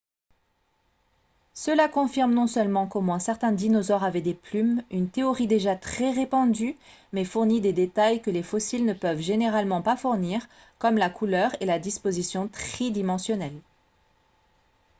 cela confirme non seulement qu'au moins certains dinosaures avaient des plumes une théorie déjà très répandue mais fournit des détails que les fossiles ne peuvent généralement pas fournir comme la couleur et la disposition tridimensionnelle